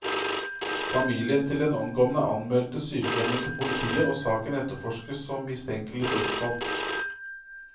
Familien til den omkomne anmeldte sykehjemmet til politiet, og saken etterforskes som mistenkelig dødsfall.